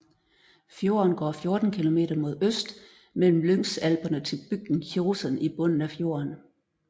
Fjorden går 14 kilometer mod øst mellem Lyngsalperne til bygden Kjosen i bunden af fjorden